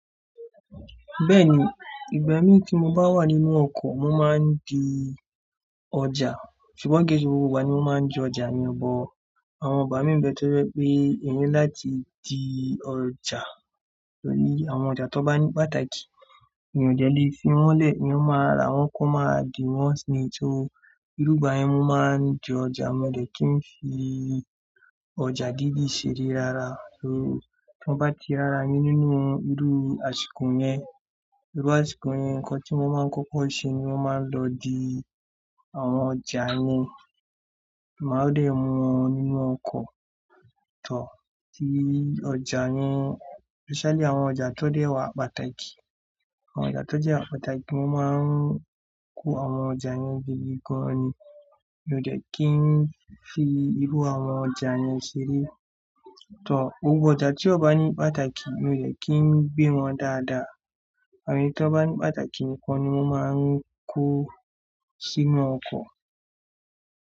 Bẹ́ẹ̀ni, ìgbà mí tí mo bá wà nínú ọkọ̀ mo máa ń di ọjà, ṣùgbọ́n ki se gbogbo igba ni mo máa ń di ọjà mi bọ. Àwọn igba mi bẹ́ẹ̀ tọ́ pé eeyan láti di ọjà, torí àwọn ọjà tó bá ní pàtàkì mi ò dẹ́ lè fi wọ́n lẹ̀, eeyọn máa rà wọ́n kó máa dì wọ́n sí inú, ṣé ìrúgbà yẹn mo máa ń di ọjà, mo dẹ̀ kí n fi ọjà dídí ṣeré rárá. Torí tí wọ́n bá ti rárá nínú irú àsìkò yẹn, iru àsìkò yẹn nǹkan tí mo máa ń kọ́kọ́ ṣe ni mọ́ máa ń lọ di àwọn ọjà yẹn. Kí n máa dẹ̀ mu wọn nínú ọkọ̀ tọ́ ti ọjà yẹn, especially àwọn ọjà tó dẹ́ẹ̀ wà pàtàkì. Àwọn ọjà tó jẹ́ àpáàtàkì mọ́ n máa ń kó àwọn ọjà yẹn gidi gan ni, mi ò dẹ̀ kí ń fi irú àwọn ọjà yẹn ṣeré. Tọ́ gbogbo ọjà tí ó bá ní pàtàkì mi ò dẹ̀ kí ń gbé wọn dáadáa, àmọ́ ẹni tí wọ́n bá ní pàtàkì nìkan ni wọ́n máa ń kó sí inú ọkọ̀